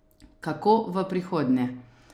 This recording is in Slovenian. Kako v prihodnje?